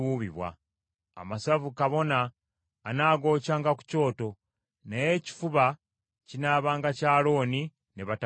Amasavu kabona anaagokyanga ku kyoto, naye ekifuba kinaabanga kya Alooni ne batabani be.